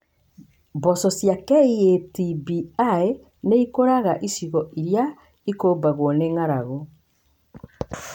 Mboco cia KAT B1 nĩ ikũraga icigo irĩa ikũmbagwo nĩ ng’aragu.